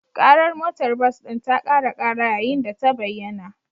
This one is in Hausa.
Ƙarar motar bas ɗin ta ƙara ƙara yayin da ta bayyana